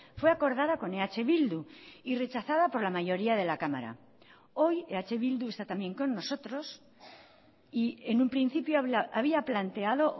fue acordada con eh bildu y rechazada por la mayoría de la cámara hoy eh bildu está también con nosotros y en un principio había planteado